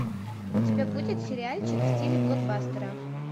у тебя будет сериальчик в стиле блокбастера